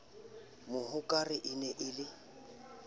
mohokare e ne e le